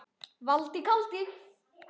Valdi kaldi.